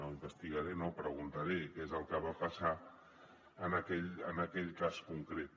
no investigaré no preguntaré què és el que va passar en aquell cas concret